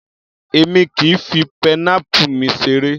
Èmi kìí fi pineapple mi seré.